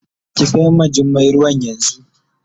Ki kai ma Jummai ruwan yanzu.